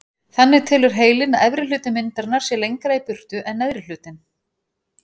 Þannig telur heilinn að efri hluti myndarinnar sé lengra í burtu en neðri hlutinn.